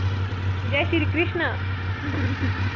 Jai Shri Krishna